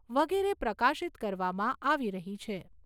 વગેરે પ્રકાશીત કરવામાં આવી રહી છે.